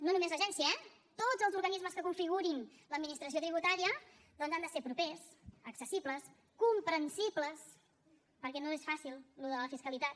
no només l’agència eh tots els organismes que configurin l’administració tributària han de ser propers accessibles comprensibles perquè no és fàcil això de la fiscalitat